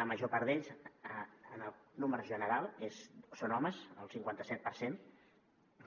la major part d’ells en números generals són homes el cinquanta set per cent